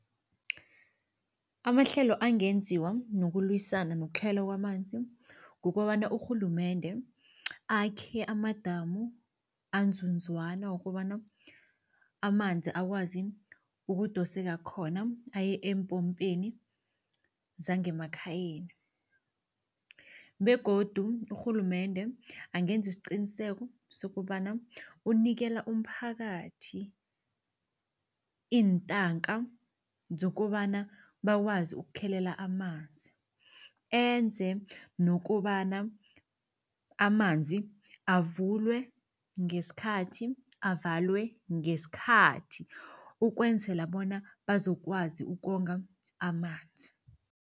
Amahlelo angenziwa nokulwisana nokutlhayela kwamanzi, kukobana urhulumende akhe amadamu anzunzwana wokobana amanzi akwazi ukudoseka khona aye epompeni zangemakhayeni begodu urhulumende angenza isiqiniseko sokobana unikela umphakathi iintanga zokobana bakwazi ukukhelela amanzi. Enze nokobana amanzi avulwe ngeskhathi, avalwe ngeskhathi ukwenzela bona bazokwazi ukonga amanzi.